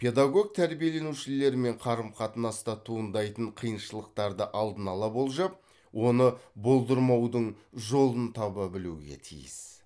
педагог тәрбиеленушілермен қарым қатынаста туындайтын қиыншылықтарды алдын ала болжап оны болдырмаудың жолын таба білуге тиіс